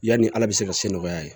Yani ala bɛ se ka se nɔgɔya ye